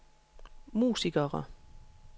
musikere